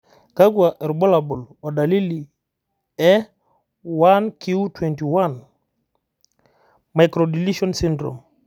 kakwa irbulabol o dalili e 1q21. microdeletion syndrome?